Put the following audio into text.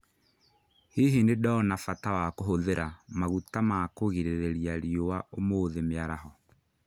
Hihi nĩ ndona bata wa kũhũthĩra maguta ma kũgirĩrĩria riũa ũmũthĩ mĩaraho?